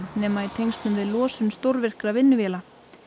nema í tengslum við losun stórvirkra vinnuvéla